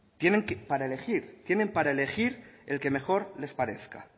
tienen para elegir tienen para elegir el que mejor les parezca